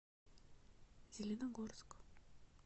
зеленогорск